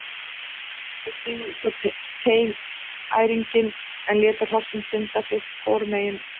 Þau stigu út á teinæringinn en létu hrossin synda sitt hvoru megin.